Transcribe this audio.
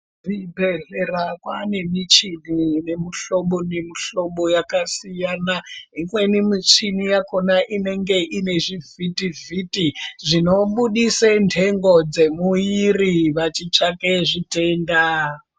Ku zvibhedhlera kwane michini ine mu hlobo ne mu hlobo yaka siyana imweni muchini yakona inenge ine zvi vhiti vhiti zvino budise ndengo dze mwiri vachi tsvake zvitenda.